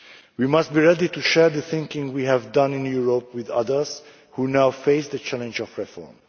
We must be ready to share the thinking we have done in Europe with others who now face the challenge of reform.